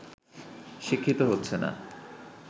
শিক্ষিত হচ্ছে না